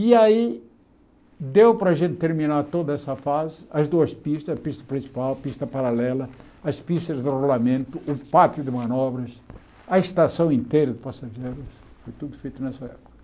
E aí, deu para a gente terminar toda essa fase, as duas pistas, a pista principal, a pista paralela, as pistas de rolamento, o pátio de manobras, a estação inteira de passageiros, foi tudo feito nessa época.